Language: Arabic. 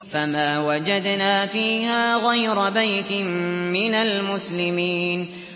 فَمَا وَجَدْنَا فِيهَا غَيْرَ بَيْتٍ مِّنَ الْمُسْلِمِينَ